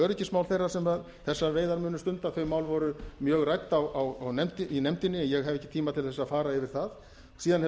öryggismál þeirra sem þessar veiðar munu stunda þau mál voru mjög rædd í nefndinni en ég hef ekki tíma til þess að fara yfir það síðan hefur